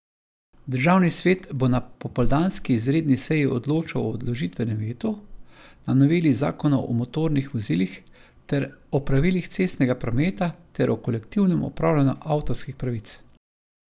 Državni svet bo na popoldanski izredni seji odločal o odložilnem vetu na noveli zakonov o motornih vozilih ter o pravilih cestnega prometa ter o kolektivnem upravljanju avtorskih pravic.